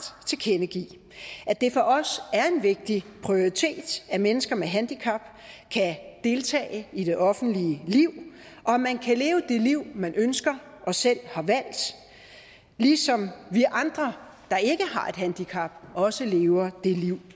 tilkendegive at det for os er en vigtig prioritet at mennesker med handicap kan deltage i det offentlige liv og at man kan leve det liv man ønsker og selv har valgt ligesom vi andre der ikke har et handicap også lever det liv